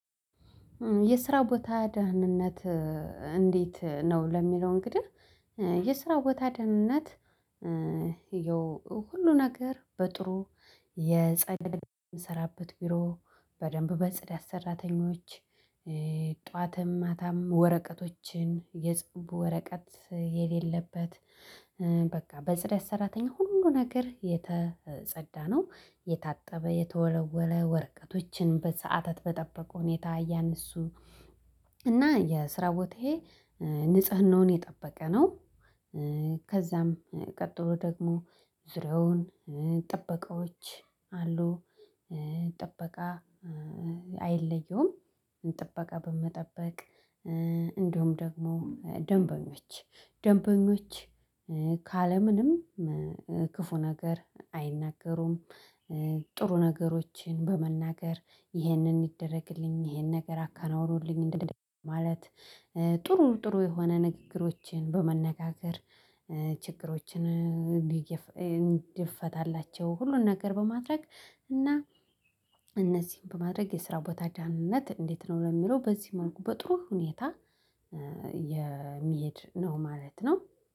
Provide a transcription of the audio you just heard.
የስራ ቦታ ደህንነት እንዴት ነው ለሚለው? እንግዲህ የስራ ቦታ ደህንነት። ሁሉ ነገር በጥሩ የጸዳ የምንሰራበት ቢሮ በደንብ በጽዳት ሰራተኞች። ጠዋትም ማታም ወረቀቶችን የጽንብ ወረቀት የሌለበት። በቃ በጽዳት ሰራተኛ ሁሉን ነገር የተጸዳ ነው የታጠበ የተወለወለ ወርቀቶችን በሰአታት በጠበቁ ሁኔታ ያነሱ እና የስራ ቦታዬ ንጽህናውን የጠበቀ ነው። ከዛም ቀጥሎ ደግሞ ዙሪያውን ጥበቃዎች አሉ። ጥበቃ አይለየውም ጥበቃ በመጠበቅ። እንደውም ደግሞ ደንበኞች ደንበኞች ካለ ምንም ክፉ ነገር አይናገሩም። ጥሩ ነገሮችን በመናገር ይህንን ይደረግልኝ ይህን ነገር አከናውኑልኝ ማለት ጥሩ ጥሩ የሆነ ንግግሮችን በመነጋገር። እንድፈታላቸው ሁሉን ነገር በማድረግ እና። እነዚህን በማድረግ የስራ ቦታ ደህንነት እንዴት ነው ለሚለው? በዚህ መልኩ በጥሩ ሁኔታ የሚሄድ ነው ማለት ነው።